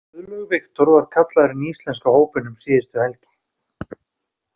Guðlaugur Victor var kallaður inn í íslenska hópinn um síðustu helgi.